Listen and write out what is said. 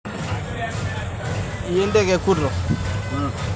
Ore moyiaritin o swam naa kenare neyiolouni asyoki.